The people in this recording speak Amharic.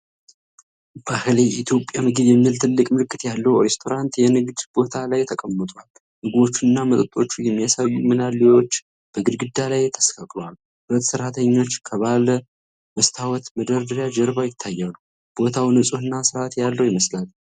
“ባህሌ የኢትዮጵያ ምግብ” የሚል ትልቅ ምልክት ያለው ሬስቶራንት የንግድ ቦታ ላይ ተቀምጧል። ምግቦችና መጠጦች የሚያሳዩ ምናሌዎች በግድግዳ ላይ ተሰቅለዋል። ሁለት ሰራተኞች ከባለ መስታወት መደርደሪያ ጀርባ ይታያሉ። ቦታው ንፁህና ስርዓት ያለው ይመስላል።